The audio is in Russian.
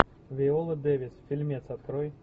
виола дэвис фильмец открой